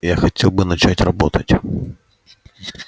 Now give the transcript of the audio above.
я хотел бы начать работать